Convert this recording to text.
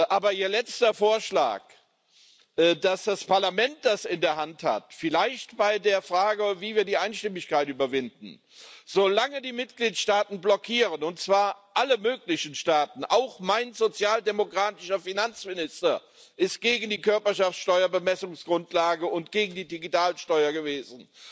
Aber Ihr letzter Vorschlag, dass das Parlament das in der Hand hat, vielleicht bei der Frage, wie wir die Einstimmigkeit überwinden Solange die Mitgliedstaaten blockieren können und zwar alle möglichen Staaten, auch mein sozialdemokratischer Finanzminister ist gegen die Körperschaftsteuer Bemessungsgrundlage und gegen die Digitalsteuer gewesen